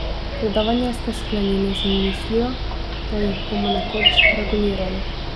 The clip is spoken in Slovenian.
Predavanje ste sklenili z mislijo, da jih bomo nekoč regulirali.